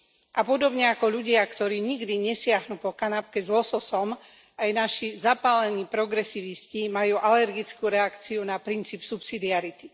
A podobne ako ľudia, ktorí nikdy nesiahnu po kanapke s lososom, aj naši zapálení progresivisti majú alergickú reakciu na princíp subsidiarity.